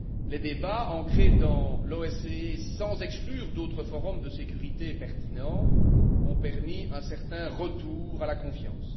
Les débats ancrés dans l'OSCE, sans exclure d'autres forums de sécurité pertinents, ont permis un certain retour à la confiance.